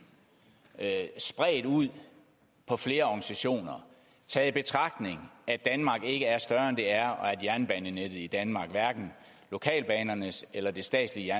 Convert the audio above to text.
spredt ud på flere organisationer taget i betragtning at danmark ikke er større end det er og at jernbanenettet i danmark hverken lokalbanenettet eller det statslige